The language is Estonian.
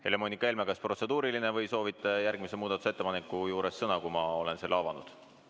Helle-Moonika Helme, kas teil on protseduuriline küsimus või soovite järgmise muudatusettepaneku juures sõna võtta, pärast seda kui ma olen selle avanud?